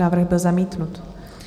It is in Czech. Návrh byl zamítnut.